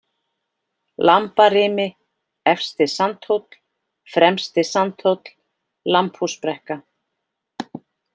Lambarimi, Efsti-Sandhóll, Fremsti-Sandhóll, Lambhúsbrekka